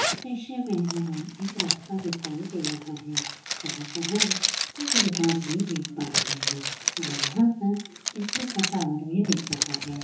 दृश्य में हमे एक रास्ता दिखाई दे रहा है जहा पर हम कुछ दुकान भी देख पा रहे है हमे यहाँ पर बिजली का टावर भी दिख रहा है।